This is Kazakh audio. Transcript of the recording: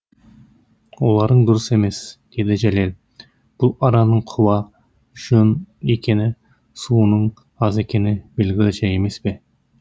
оларың дұрыс емес деді жәлел бұл араның құба жон екені суының аз екені белгілі жәй емес пе